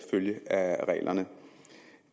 følge af reglerne